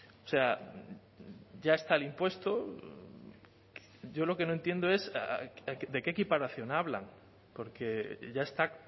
o sea ya está el impuesto yo lo que no entiendo es de qué equiparación hablan porque ya está